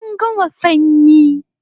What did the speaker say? An gama sanyi